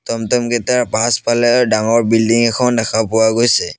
টম-টম কেইটাৰ পাছফালে ডাঙৰ বিল্ডিং এখন দেখা পোৱা গৈছে।